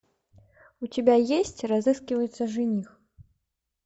у тебя есть разыскивается жених